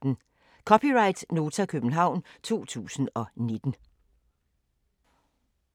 (c) Nota, København 2019